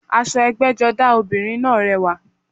Aṣọ ẹgbẹ́jọdá ọmọbìnrin náà rẹwà